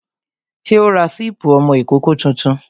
Ṣé o ra sípí ọmọ ìkókó tuntun?